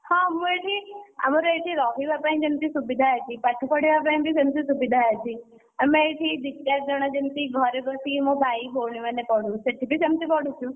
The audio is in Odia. ହଁ ମୁଁ ଏଠି ଆମର ଏଠି ରହିବା ପାଇଁଯେମିତି ସୁବିଧା ଅଛି ପାଠ ପଢିବା ପାଇଁ ବି ସେମିତି ସୁବିଧା ଅଛି। ଆମେ ଏଠି ଦି ଚାରି ଜଣ ଯେମିତିଘରେ ବସି ଯେମିତି ମୋ ଭାଇ ଭଉଣୀ ମାନେ ପଢୁ ସେଠି ବି ସେମିତି ପଢୁଛୁ।